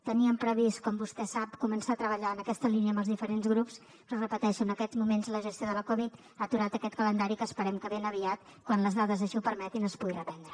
teníem previst com vostè sap començar a treballar en aquesta línia amb els diferents grups però ho repeteixo en aquests moments la gestió de la covid ha aturat aquest calendari que esperem que ben aviat quan les dades així ho permetin es pugui reprendre